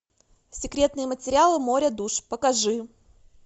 секретные материалы море душ покажи